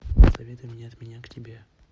посоветуй мне от меня к тебе